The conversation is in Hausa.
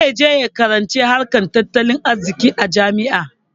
Zai je ya karanci harkar tattalin arziƙi a jami'a.